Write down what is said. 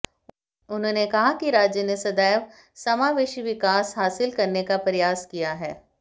उन्होंने कहा कि राज्य ने सदैव समावेशी विकास विकास हासिल करने का प्रयास किया है